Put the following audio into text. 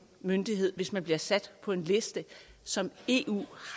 myndighed hvis man bliver sat på en liste som eu